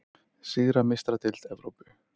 Sigra Meistaradeild Evrópu?